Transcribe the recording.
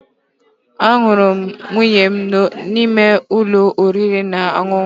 Ahụrụ m nwunye m n'ụlọ oriri na ọṅụṅụ